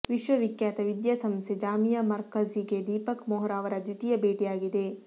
ವಿಶ್ವವಿಖ್ಯಾತ ವಿದ್ಯಾ ಸಂಸ್ಥೆ ಜಾಮಿಯಾ ಮರ್ಕಝಿಗೆ ದೀಪಕ್ ವೊಹ್ರಾ ಅವರ ದ್ವಿತೀಯ ಭೇಟಿಯಾಗಿದೆ